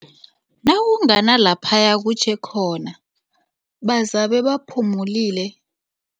Nakungana laphaya kutjhe khona bazabe baphumulile.